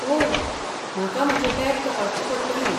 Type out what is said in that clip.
ओह, म्हाका म्हजें बॅग तपासचें पडटलें.